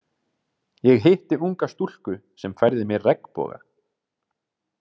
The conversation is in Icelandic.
Ég hitti unga stúlku sem færði mér regnboga.